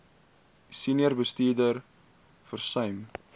senior bestuurders versuim